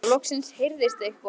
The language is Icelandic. Þá loksins heyrðist eitthvað.